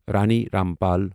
Rani Rampal